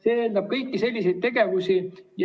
See eeldab kõiki selliseid tegevusi.